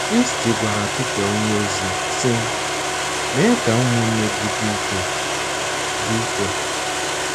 Kristi gwara Pita onyeozi, sị: “ Mee ka ụmụnna gị dị ike.” dị ike.”